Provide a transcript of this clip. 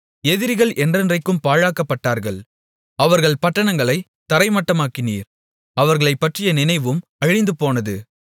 எதிரிகள் என்றென்றைக்கும் பாழாக்கப்பட்டார்கள் அவர்கள் பட்டணங்களைத் தரைமட்டமாக்கினீர் அவர்களைப் பற்றிய நினைவும் அழிந்துபோனது